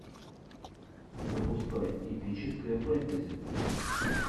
запускай эпическое фэнтези